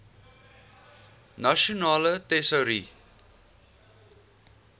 nasionale tesourie